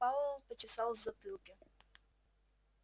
пауэлл почесал в затылке